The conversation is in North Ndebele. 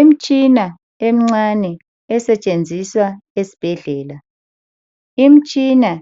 Imitshina emincane esetshenziswa esibhedlela. Imitshina